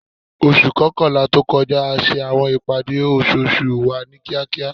Oṣu kọkanla to kọja a ṣe awọn ipade oṣooṣu wa ni kiakia